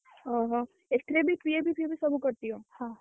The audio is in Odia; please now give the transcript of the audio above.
ଓହୋ ଏଥିରେ ବି PFP ଫିଏପି ସବୁ କଟିବ।